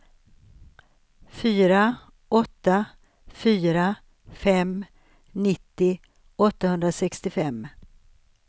fyra åtta fyra fem nittio åttahundrasextiofem